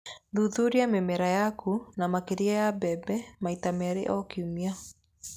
Thuthuria mĩmera yaku, na makĩria ya mbembe, maita merĩ o kiumia.